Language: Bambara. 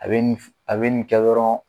A bɛ nin f a bɛ nin kɛ yɔrɔn